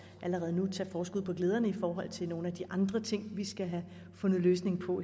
allerede nu tage forskud på glæderne i nogle af de andre ting vi skal have fundet en løsning på